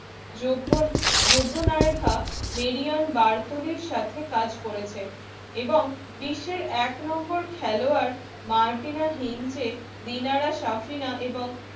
সাথে কাজ করেছে এবং বিশ্বের এক নম্বর খেলোয়াড় মার্টিনা হিংচে এবং